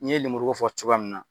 I ye lemuru ko fɔ cogoya min na